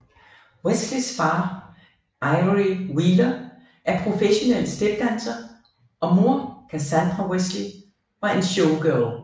Wesleys far Ivery Wheeler er professionel stepdanser og mor Cassandra Wesley var en showgirl